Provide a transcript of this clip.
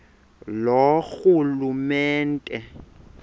loorhulumente